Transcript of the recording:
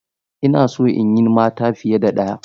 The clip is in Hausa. Ina so in yi mata fiye da ɗaya.